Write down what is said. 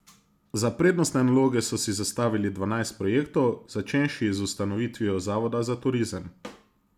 Za prednostne naloge so si zastavili dvanajst projektov, začenši z ustanovitvijo zavoda za turizem.